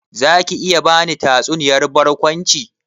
Zaki iya bani tatsuniyar barkwanci?